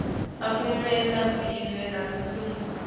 akumakwe lamabili lamatsatfu